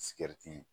Sigɛriti